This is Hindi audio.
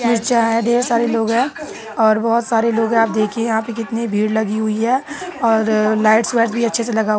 ढेर सारे लोग है और बहुत सारे लोग है। आप देखिए यहाँ पे कितनी भीड़ लगी हुई है। और लाइटस वाइट्स भी अच्छे से लगा हुए --